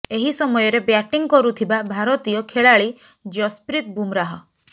ଏହି ସମୟରେ ବ୍ୟାଟିଂ କରୁଥିବା ଭାରତୀୟ ଖେଳାଲି ଜସପ୍ରିତ ବୁମରାହ